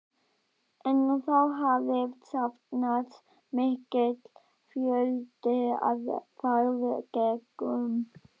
En þá hafði safnast mikill fjöldi af farþegum.